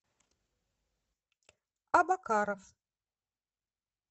абакаров